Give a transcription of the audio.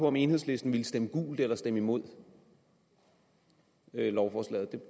om enhedslisten vil stemme gult eller stemme imod lovforslaget